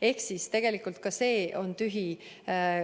Ehk siis tegelikult ka see on tühi.